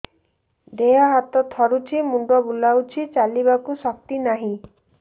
ଦେହ ହାତ ଥରୁଛି ମୁଣ୍ଡ ବୁଲଉଛି ଚାଲିବାକୁ ଶକ୍ତି ନାହିଁ